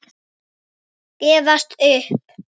Gefast upp?